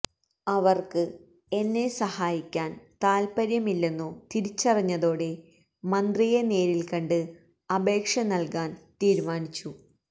അവര്ക്ക് എന്നെ സഹായിക്കാന് താത്പര്യമില്ലെന്നു തിരിച്ചറിഞ്ഞതോടെ മന്ത്രിയെ നേരില് കണ്ട് അപേക്ഷ നല്കാന് തീരുമാനിച്ചു